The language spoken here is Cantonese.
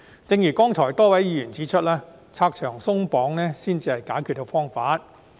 正如剛才多位議員指出，拆牆鬆綁才是解決方法。